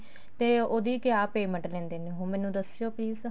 ਤੇ ਉਹਦੀ ਕਿਆ payment ਲੈਂਦੇ ਨੇ ਮੈਨੂੰ ਦੱਸਿਓ please